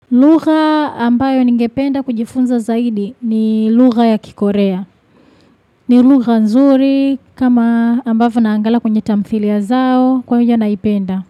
Lugha ambayo ningependa kujifunza zaidi ni lugha ya kikorea. Ni lugha nzuri kama ambayo naangalia kwenye tamthilia zao kwa uja naipenda.